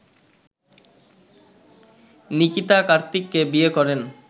নিকিতা কার্তিককে বিয়ে করেন